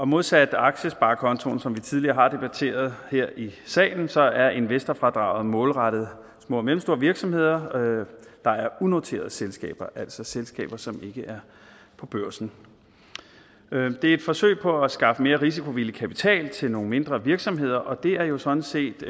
modsat aktiesparekontoen som vi tidligere har debatteret her i salen så er investorfradraget målrettet små og mellemstore virksomheder der er unoterede selskaber altså selskaber som ikke er på børsen det er et forsøg på at skaffe mere risikovillig kapital til nogle mindre virksomheder og det er jo sådan set